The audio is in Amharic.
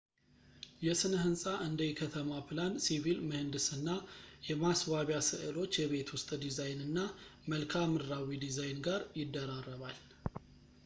የሥነ ሕንጻ እንደ የከተማ ፕላን፣ ሲቪል ምህንድስና፣ የማስዋቢያ ሥዕሎች ፣ የቤት ውስጥ ዲዛይን እና መልክዓ ምድራዊ ዲዛይን ጋር ይደራረባል